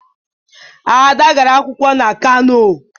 Ada gara akwụkwọ na Kano.